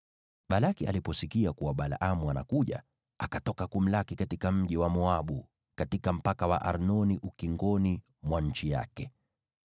Balaki aliposikia kuwa Balaamu anakuja, akatoka kumlaki katika mji wa Moabu, katika mpaka wa Arnoni, ukingoni mwa nchi yake.